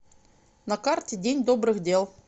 на карте день добрых дел